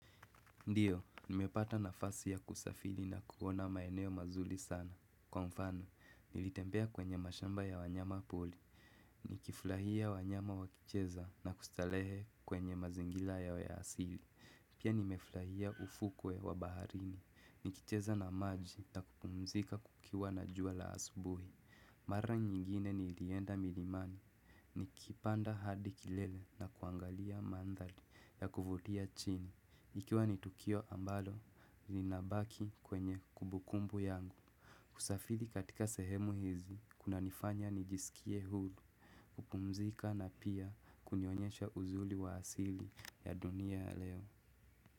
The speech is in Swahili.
Ndiyo, nimepata nafasi ya kusafiri na kuona maeneo mazuri sana. Kwa mfano, nilitembea kwenye mashamba ya wanyama pori. Nikifurahia wanyama wakicheza na kustarehe kwenye mazingira ya asili. Pia nimefurahia ufukwe wa baharini. Nikicheza na maji na kupumzika kukiwa na jua la asubuhi. Mara nyingine nilienda milimani. Nikipanda hadi kilele na kuangalia mandhari ya kuvutia chini. Ikiwa ni tukio ambalo, linabaki kwenye kumbukumbu yangu. Kusafiri katika sehemu hizi, kunanifanya nijisikie huru, kupumzika na pia kunionyesha uzuri wa asili ya dunia leo.